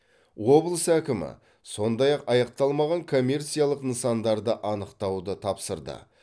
облыс әкімі сондай ақ аяқталмаған коммерциялық нысандарды анықтауды тапсырды